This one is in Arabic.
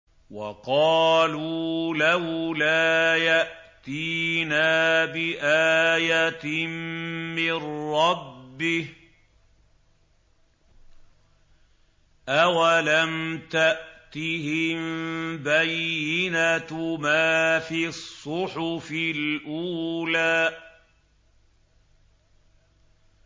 وَقَالُوا لَوْلَا يَأْتِينَا بِآيَةٍ مِّن رَّبِّهِ ۚ أَوَلَمْ تَأْتِهِم بَيِّنَةُ مَا فِي الصُّحُفِ الْأُولَىٰ